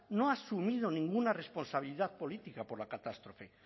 no ha asumido ninguna responsabilidad política por la catástrofe